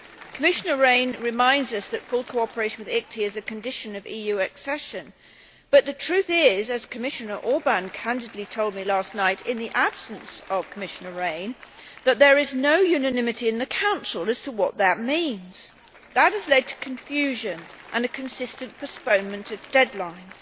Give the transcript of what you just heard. Commissioner Rehn reminds us that full cooperation with the ICTY is a condition of EU accession but the truth is, as Commissioner Orban candidly told me last night in the absence of Commissioner Rehn, that there is no unanimity in the Council as to what that means. That has led to confusion and a consistent postponement of deadlines.